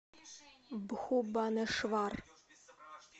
бхубанешвар